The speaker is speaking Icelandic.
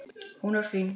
Hún er fín.